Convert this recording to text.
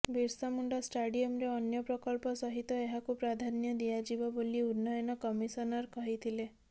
ବିର୍ସାମୁଣ୍ଡା ଷ୍ଟାଡିୟମରେ ଅନ୍ୟ ପ୍ରକଳ୍ପ ସହିତ ଏହାକୁ ପ୍ରାଧାନ୍ୟ ଦିଆଯିବ ବୋଲି ଉନ୍ନୟନ କମିଶନର କହିଥିଲେ